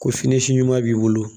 Ko fini si ɲuman b'i bolo